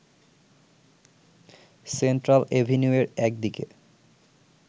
central এভিনিউয়ের একদিকে